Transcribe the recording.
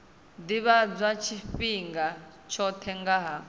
ḓivhadzwa tshifhinga tshoṱhe nga ha